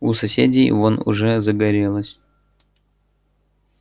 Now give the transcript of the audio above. у соседей вон уже загорелось